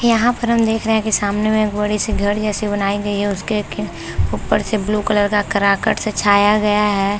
यहाँ पर हम देख रहे है की सामने में एक बड़ी सी घडी जैसे बनाई गयी है उसके लेकिन ऊपर से ब्लू कलर का कराकट सा छाया गया है।